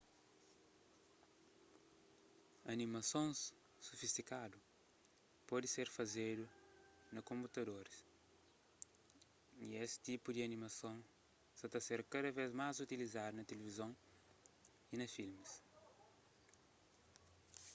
animasons sofistikadu pode ser fazedu na konputadoris y es tipu di animason sa ta ser kada vez más utilizadu na tilivizon y na filmis